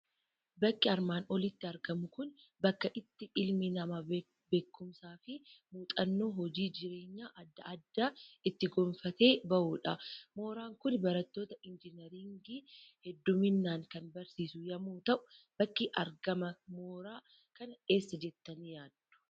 Bakki armaan olitti argamu Kun, bakka itti ilmi namaa beekumsaa fi muuxannoo hojii, jireenyaa addaa addaa itti gonfatee bahudha. Mooraan Kun, barattoota injineringii hedduminaan kan barsiisu yemmuu ta'u, bakki argama mooraa kana eessa jettanii yaaddu?